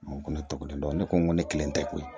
ko ne tɔgɔ ye dɔn ne ko nko ne kelen tɛ koyi